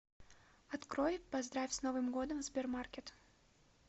открой поздравь с новым годом в сбермаркет